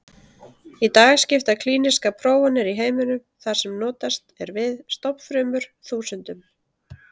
Í dag skipta klínískar prófanir í heiminum, þar sem notast er við stofnfrumur, þúsundum.